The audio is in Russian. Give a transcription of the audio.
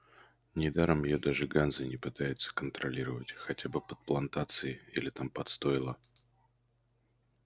недаром её даже ганза не пытается колонизировать хотя бы под плантации или там под стойла